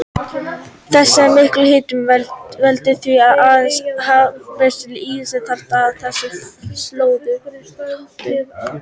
Þessi mikli hitamunur veldur því að aðeins harðgerustu lífverur þrífast á þessum slóðum.